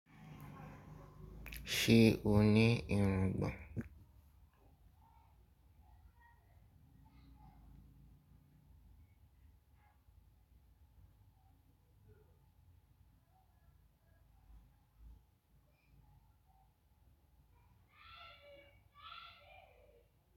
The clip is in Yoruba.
Ṣé ó ní irungbọ̀n?